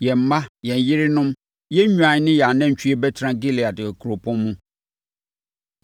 Yɛn mma, yɛn yerenom, yɛn nnwan ne yɛn anantwie bɛtena Gilead nkuropɔn mu.